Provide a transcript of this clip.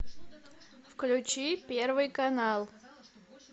включи первый канал